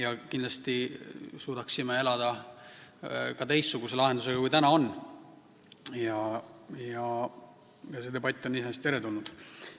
Aga kindlasti suudaksime elada ka teistsuguse lahenduse korral, kui praegu jõus on, nii et see debatt on iseenesest teretulnud.